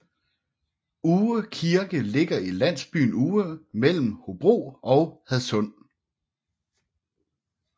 Oue Kirke ligger i landsbyen Oue mellem Hobro og Hadsund